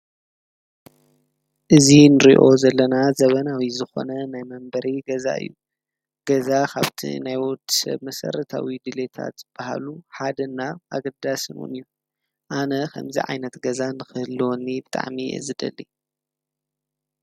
እዙ ንርዮ ዘለና ዘበናዊ ዝኾነ ናይ መንበሪ ገዛ እዩ ገዛ ኻብቲ ናይወት ብምሠር ታዊ ድልታት በሃሉ ሓደና ኣግዳ ስምን እዩ ኣነ ኸምዚ ዓይነት ገዛ ምኽህልልወኒ ብጣዕሚ እዩ ዝደሊ።